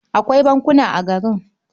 Akwai bankuna a garin.